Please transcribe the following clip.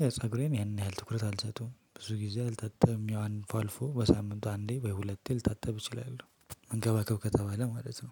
ያው ፀጉሬን ያን ያህል ትኩረት አልሰጠዉም ብዙ ጊዜ አልታጠብም ያው አልፎ አልፎ በሳምንቱ አንዴ ወይ ሁለቴ ልታጠብ እችላለሁ። መንከባከብ ከተባለ ማለት ነው